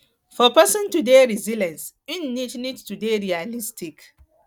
for person to dey resilient im need need to dey realistic